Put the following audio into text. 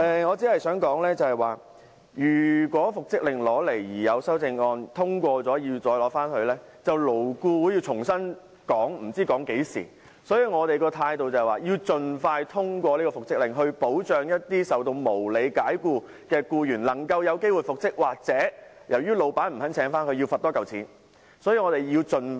我只想說，如果復職令提交立法會審議而有修正案獲得通過，便要由勞顧會重新討論，不知討論至何時，所以我們的態度是要盡快通過復職令，以保障受無理解僱的僱員能夠有機會復職，如僱主不願意重新聘請僱員，便要多繳罰款。